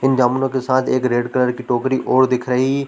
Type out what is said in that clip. इन जामुनों के साथ एक रेड कलर की टोकरी और दिख रही--